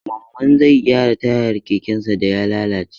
Mamman zai gyara tayar kekensa da ya lalace.